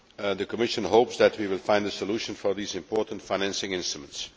The Commission hopes that we will find a solution for these important financing instruments.